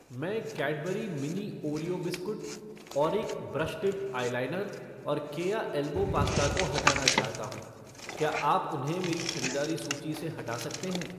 मैं Cadbury mini Oreo biscuit , Auric brush tip eyeliner और Keya elbow pasta को हटाना चाहता हूँ , क्या आप उन्हें मेरी ख़रीदारी सूची से हटा सकते हैं?